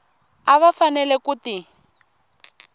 a va fanele ku ti